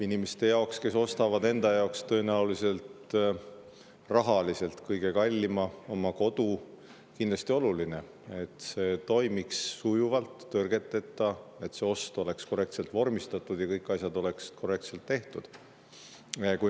Inimeste jaoks, kes teevad enda jaoks tõenäoliselt rahaliselt kõige kallima oma kodu, on kindlasti oluline, et see toimuks sujuvalt ja tõrgeteta, et see ost oleks korrektselt vormistatud ja kõik asjad oleks korrektselt tehtud.